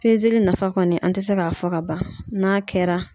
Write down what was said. nafa kɔni an tɛ se k'a fɔ ka ban n'a kɛra